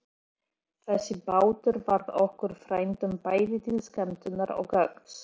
Þessi bátur varð okkur frændum bæði til skemmtunar og gagns.